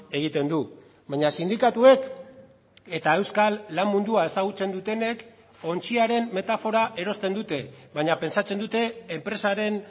egiten du baina sindikatuek eta euskal lan mundua ezagutzen dutenek ontziaren metafora erosten dute baina pentsatzen dute enpresaren